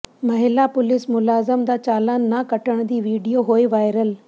ਮਹਿਲਾ ਪੁਲਿਸ ਮੁਲਾਜ਼ਮ ਦਾ ਚਾਲਾਨ ਨਾ ਕੱਟਣ ਦੀ ਵੀਡੀਓ ਹੋਈ ਵਾਇਰਲ